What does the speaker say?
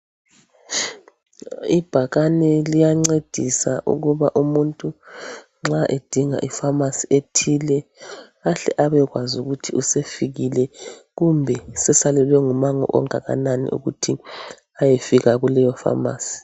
Ibhakane liyancedisa ukuba umuntu nxa edinga ipharmacy ethile , ahle abekwazi ukuthi usefikile. Kumbe sesalelwe ngumango onganani , ukuthi ayefika kuleyo pharmacy.